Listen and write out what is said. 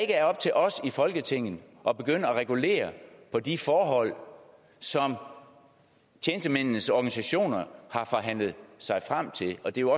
er op til os i folketinget at begynde at regulere på de forhold som tjenestemændenes organisationer har forhandlet sig frem til og det er